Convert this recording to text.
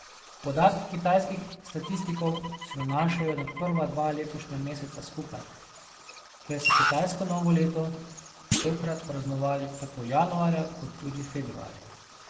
Podatki kitajskih statistikov se nanašajo na prva dva letošnja meseca skupaj, ker so kitajsko novo leto tokrat praznovali tako januarja kot tudi februarja.